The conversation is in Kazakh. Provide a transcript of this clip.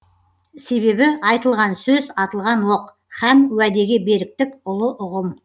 себебі айтылған сөз атылған оқ һәм уәдеге беріктік ұлы ұғым